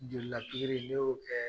Jolila pikiri ne y'o kɛ.